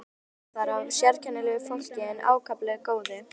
Dálítið var þar af sérkennilegu fólki en ákaflega góðu.